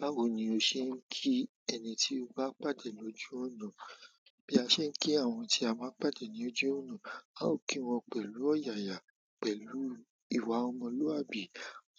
Báwo ni o ṣe ń kí ẹni tí o bá pàdé ní ojú ọ̀nà? Bí a ṣe ń kí àwọn tí a máa ń pàdé ní ojú ọ̀nà, a ó kí wọn pẹ̀lú ọ̀yàyà, pẹ̀lú ìwà ọmọlúwàbí,